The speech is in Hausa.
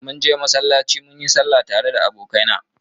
Munje masallaci munyi sallah tare da abokaina.